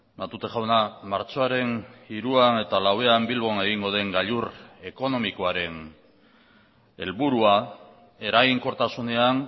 matute jauna martxoaren hiruan eta lauan bilbon egingo den gailur ekonomikoaren helburua eraginkortasunean